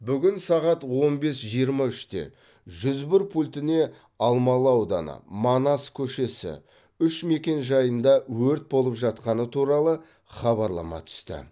бүгін сағат он бес жиырма үште жүз бір пультіне алмалы ауданы манас көшесі үш мекенжайында өрт болып жатқаны туралы хабарлама түсті